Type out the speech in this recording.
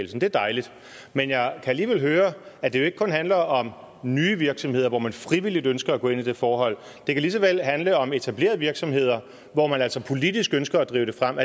det er dejligt men jeg kan alligevel høre at det jo ikke kun handler om nye virksomheder hvor man frivilligt ønsker at gå ind i det forhold det kan lige så vel handle om etablerede virksomheder hvor man altså politisk ønsker at drive det frem